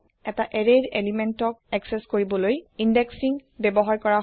এটা এৰেয়ৰ পদাৰ্থক একচেস কৰিবলৈ ইণ্ডেক্সিং ব্যৱহাৰ কৰা হয়